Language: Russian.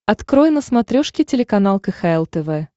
открой на смотрешке телеканал кхл тв